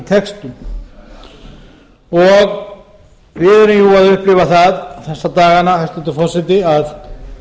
textun og við erum jú að upplifa það þessa dagana hæstvirtur forseti að